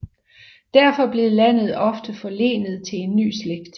Derfor blev landet ofte forlenet til en ny slægt